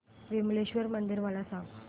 विमलेश्वर मंदिर मला सांग